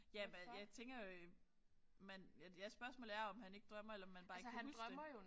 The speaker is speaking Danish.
Ja men jeg tænker jo man at jeg spørgsmålet er om han ikke drømmer eller om han bare ikke kan huske det